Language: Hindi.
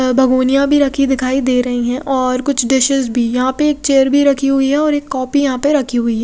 भगुनिया भी रखी दिखाई दे रही है और कुछ डीशेस भी यहाँ पे एक चेयर भी रखी हुई है और एक कॉपी यहाँ पे रखी हुई है।